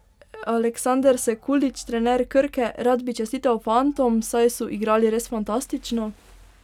Aleksander Sekulić, trener Krke: "Rad bi čestital fantom, saj so igrali res fantastično.